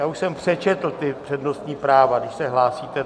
já už jsem přečetl ta přednostní práva, když se hlásíte.